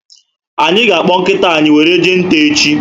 Anyị ga akpọ nkịta anyị were jee nta echi